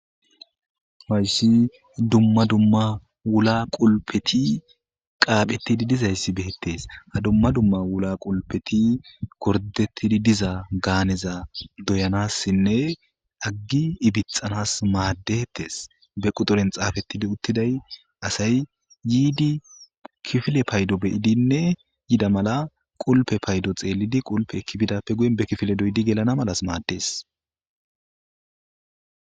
Hayssi dumma dumma wula qulpethi qaapheththidi dizayssi beeththes; ha dumma dumma wula qulpethi gordeththidi diza gaaneza doyanassinne aggi ibixanas maaddethes; be quxuren xaafeththidi uththiday asay yiidi kifile paydo be7idinne yida mala qulpe paydo xeellidi qulpe ekki bidappe guyen be kifile doydi gelana malas maaddes.